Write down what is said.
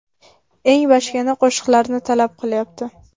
Eng bachkana qo‘shiqlarni talab qilyapti.